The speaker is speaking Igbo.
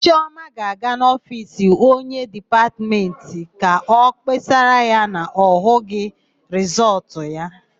Chiọma ga-aga n'ofiisi onyeísí Dipatmentị ka ọ kpesara ya na ọ hụghị rịsọọtụ ya.